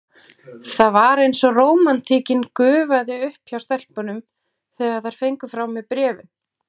Það var eins og rómantíkin gufaði upp hjá stelpunum, þegar þær fengu frá mér bréfin.